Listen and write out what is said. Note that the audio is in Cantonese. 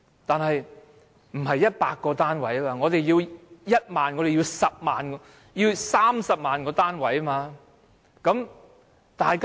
但是，我們不僅需要100個單位，我們需要1萬、10萬甚至30萬個單位。